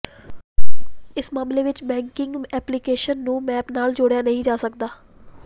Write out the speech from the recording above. ਇਸ ਮਾਮਲੇ ਵਿੱਚ ਬੈਂਕਿੰਗ ਐਪਲੀਕੇਸ਼ਨ ਨੂੰ ਮੈਪ ਨਾਲ ਜੋੜਿਆ ਨਹੀਂ ਜਾ ਸਕਦਾ